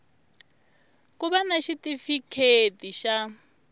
ku va na xitifiketi xa